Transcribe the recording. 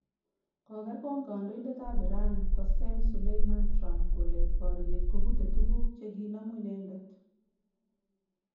Kokergon kandoindet ab Iran Quassem Soleimani Trump kole boryet kopute tuguk chekinomu inendet